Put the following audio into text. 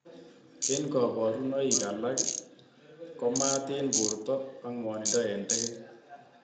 Eng kabarunoik alak ko maat eng borto ak ngwanindo ab teget.